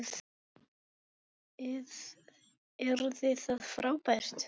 Yrði það frábært?